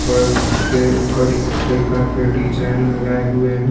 के डिजाइन लगाए हुऐ हे.